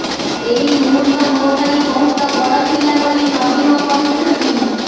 ଏହି ମୁହୂର୍ତ୍ତ ମୋ ପାଇଁ ବହୁତ ବଡ଼ ଥିଲା ବୋଲି ନଦୀମ କହିଛନ୍ତି